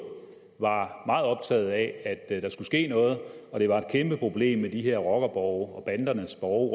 var meget optaget af at at der skulle ske noget og det var et kæmpe problem med de her rockerborge og bandernes borge